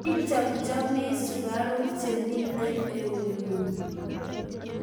Ichochomii sukaruk chemito eung'ung?